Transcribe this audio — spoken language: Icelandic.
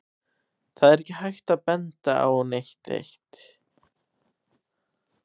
Það er ekki hægt að benda á neitt eitt.